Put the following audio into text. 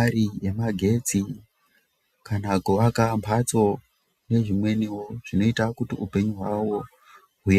ari emagetsi kana kuvaka mbatso nezvimweniwo zvinoita kuti upenyu hwawo huen....